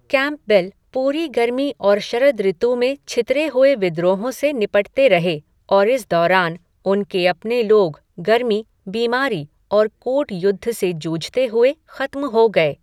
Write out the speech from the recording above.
Campbell पूरी गर्मी और शरद ऋतु में छितरे हुए विद्रोहों से निपटते रहे, और इस दौरान उनके अपने लोग गर्मी, बीमारी और कूट युद्ध से जूझते हुए खत्म हो गए।